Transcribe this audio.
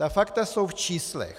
Ta fakta jsou v číslech.